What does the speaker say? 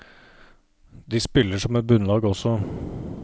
De spiller som et bunnlag også.